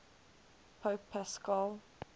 pope paschal